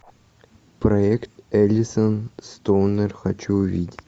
проект элисон стоунер хочу увидеть